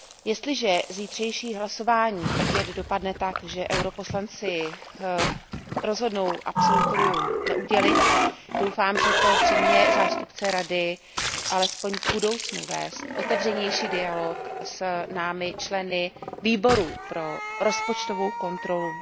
Jestliže zítřejší hlasování opět dopadne tak, že poslanci EP rozhodnou absolutorium neudělit, doufám, že to přiměje zástupce Rady alespoň v budoucnu vést otevřenější dialog s námi, se členy Výboru pro rozpočtovou kontrolu.